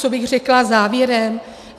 Co bych řekla závěrem?